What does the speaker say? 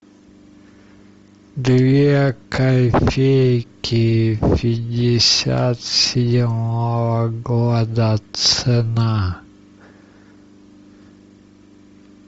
две копейки пятьдесят седьмого года цена